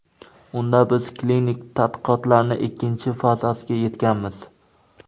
Unda biz klinik tadqiqotlarning ikkinchi fazasiga yetganmiz.